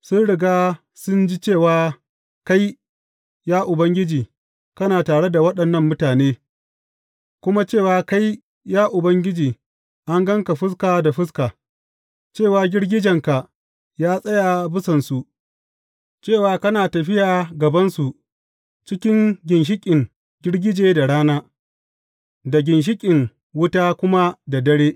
Sun riga sun ji cewa kai, ya Ubangiji, kana tare da waɗannan mutane, kuma cewa kai, ya Ubangiji, an gan ka fuska da fuska, cewa girgijenka ya tsaya bisansu, cewa kana tafiya a gabansu cikin ginshiƙin girgije da rana, da ginshiƙin wuta kuma da dare.